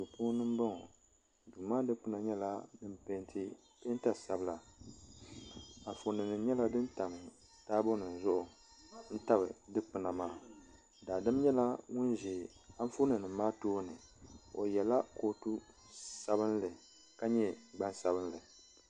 Duu puuni n boŋɔ duu maa dikpuna nyɛla din peenti peenta sabila anfooni nim nyɛla din tabi taabo nim zuɣu n tabi dikpuna maa daadam nyɛla ŋun ʒɛ anfooni nim maa tooni o yɛla kootu sabinli ka nyɛ gbansabinli